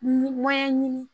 Nin mɔɲɛn ɲini